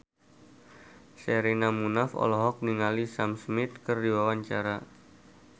Sherina Munaf olohok ningali Sam Smith keur diwawancara